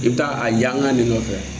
I bi taa a yan ka nin nɔfɛ